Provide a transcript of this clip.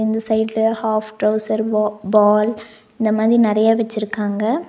இந்த சைடுல half trouser பா பால் இந்த மாதிரி நெறைய வெச்சிருக்காங்க.